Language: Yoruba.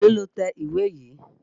Èlòó lo tẹ ìwé yìí?